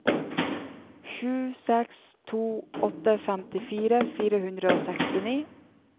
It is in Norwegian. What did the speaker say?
sju seks to åtte femtifire fire hundre og sekstini